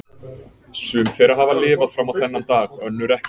Sum þeirra hafa lifað fram á þennan dag, önnur ekki.